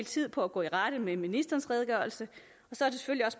tid på at gå i rette med ministerens redegørelse